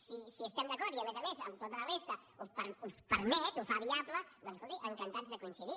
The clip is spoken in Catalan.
si estem d’acord i a més a més amb tota la resta ho permet ho fa viable doncs escolti encantats de coincidir